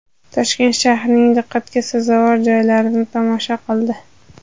Toshkent shahrining diqqatga sazovor joylarini tomosha qildi.